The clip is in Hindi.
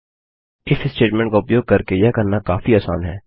इफ स्टेटमेंट का उपयोग करके यह करना काफी आसान है